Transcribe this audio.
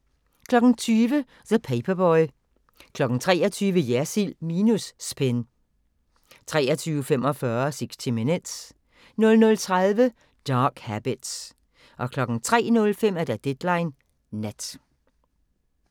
20:00: The Paperboy 23:00: Jersild minus Spin 23:45: 60 Minutes 00:30: Dark Habits 03:05: Deadline Nat